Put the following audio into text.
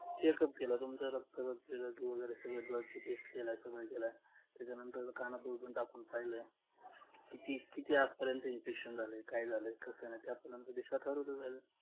checkup केलं तुमचं रक्त जर blood ची test केल्या त्याच्यानंतर कानात दुर्बीण टाकून पाहिलं किती आतपर्यंत infection झालं काय झालं